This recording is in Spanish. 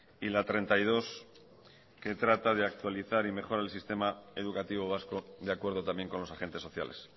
y la treinta y dos que trata de actualizar y mejorar el sistema educativo vasco de acuerdo también con los agentes sociales